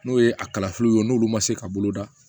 N'o ye a kalafiliw ye n'olu ma se ka boloda